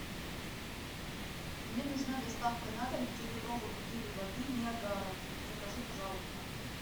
мне нужна доставка на дом пятилитровой бутыли воды ниагара закажи пожалуйста